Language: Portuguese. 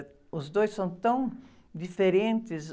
Os dois são tão diferentes.